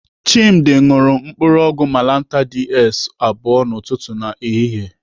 Chimdi ṅụrụ mkpụrụ ọgwụ malantar DS abụọ n'ụtụtụ na ehihie.